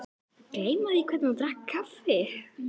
Gleyma því hvernig hún drakk kaffið.